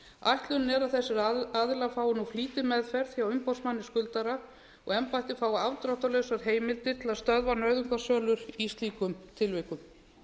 ætlunin er að þessir aðilar fái nú flýtimeðferð hjá umboðsmanni skuldara og embættið fái afdráttarlausar heimildir til að stöðva nauðungarsölur í slíkum tilvikum